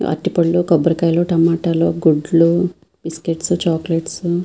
అరటిపళ్ళు టొమాటో లు కొబ్బరికాయలు గుడ్లు బిస్కిట్స్ చోక్లెట్స్ --